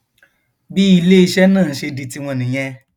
bí iléeṣẹ náà ṣe di tiwọn nìyẹn